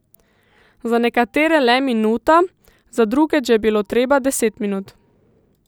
Za nekatere le minuta, za druge, če je bilo treba, deset minut.